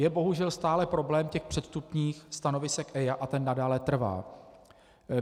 Je bohužel stále problém těch předvstupních stanovisek EIA a ten nadále trvá.